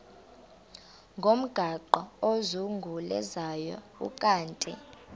ngomgaqo ozungulezayo ukanti